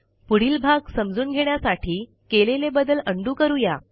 पुढील भाग समजून घेण्यासाठी केलेले बदल उंडो करू या